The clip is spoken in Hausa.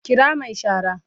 Kira mai shara